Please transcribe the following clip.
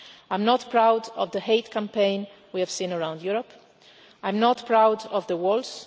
I am not proud of the hate campaign we have seen around Europe, I am not proud of the walls.